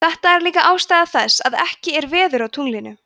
þetta er líka ástæða þess að ekki er veður á tunglinu